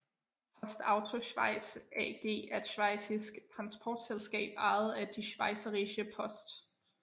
PostAuto Schweiz AG er et schweizisk transportselskab ejet af Die Schweizerische Post